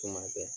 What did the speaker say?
Tuma bɛɛ